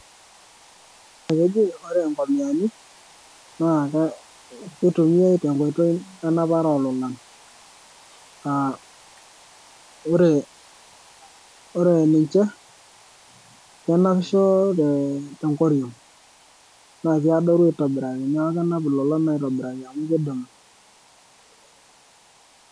ore inkomiyani naa keitumiyae tenkata enapata oololan.aa ore ninche kenapisho te nkoriong'naa kiadoru aitobiraki neeku kenap ilolon aitobiraki amu kidimu.